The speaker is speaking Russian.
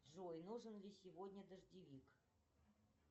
джой нужен ли сегодня дождевик